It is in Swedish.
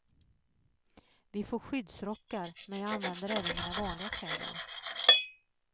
Vi får skyddsrockar men jag använder även mina vanliga kläder.